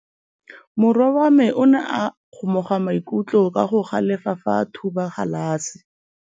Morwa wa me o ne a kgomoga maikutlo ka go galefa fa a thuba galase.